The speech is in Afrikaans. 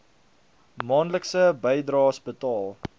maandelikse bydraes betaal